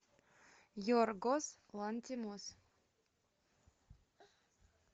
йоргос лантимос